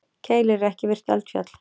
Keilir er ekki virkt eldfjall.